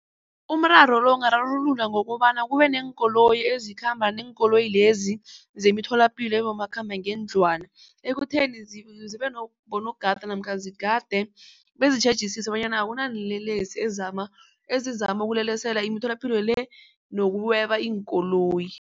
Umraro lo ungararulula ngokobana kubeneenkoloyi ezikhamba neenkoloyi lezi zemitholapilo ebomakhambangendlwana. Ekutheni zibe bonogada namkha zigade bezitjhejisisa bonyana akunalelesi ezama ezizama ukulelesela imitholapilo le nokweba iinkoloyi.